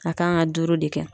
A kan ka duuru de kɛ.